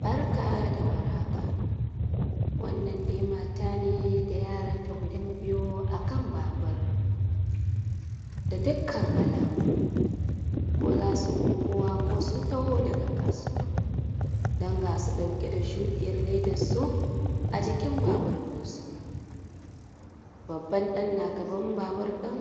Barka da war haka wannan dai mata ne da yaranta guda biyu akan babur da dukkan alamu ko za su unguwa ko sun taho daga kasuwa dan ga su ɗauke da shuɗiyar ledansu a jikin babur dinsu. Babban ɗan na gaban babur din